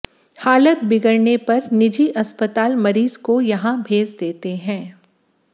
हालत बिगड़ने पर निजी अस्पताल मरीज काे यहां भेज देते हैं